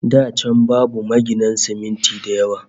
Da can babu maginan siminti da yawa